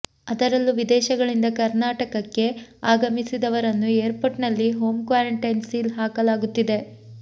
ಅದರಲ್ಲೂ ವಿದೇಶಗಳಿಂದ ಕರ್ನಾಟಕಕ್ಕೆ ಆಗಮಿಸಿದವರನ್ನು ಏರ್ಪೋರ್ಟ್ನಲ್ಲಿ ಹೋಮ್ ಕ್ವಾರಂಟೈನ್ ಸೀಲ್ ಹಾಕಲಾಗುತ್ತಿದೆ